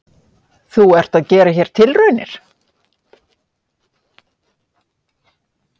Þú ert að gera hér tilraunir?